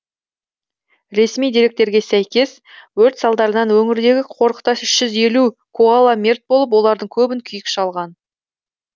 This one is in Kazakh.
ресми деректерге сәйкес өрт салдарынан өңірдегі қорықта үш жүз елу коала мерт болып олардың көбін күйік шалған